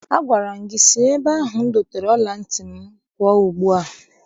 Agwara m ha si n'ebe ahụ m dosara ọla ntị m pụọ ugbua!